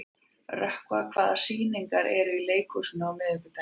Rökkva, hvaða sýningar eru í leikhúsinu á miðvikudaginn?